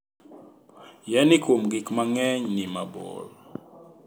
Yani kuom gik mang'eny ni mabor